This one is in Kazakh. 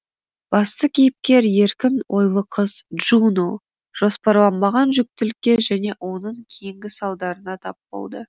басты кейіпкер еркін ойлы қыз джуно жоспарланбаған жүктілікке және оның кейінгі салдарына тап болды